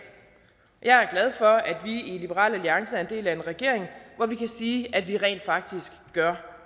og at vi i liberal alliance er en del af en regering hvor vi kan sige at vi rent faktisk gør